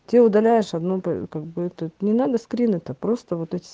ты удаляешь одну па как бы эту не надо скрины то просто вот эти